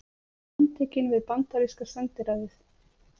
Handtekinn við bandaríska sendiráðið